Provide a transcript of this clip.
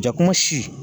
Jakuma si